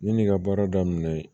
Yan'i ka baara daminɛ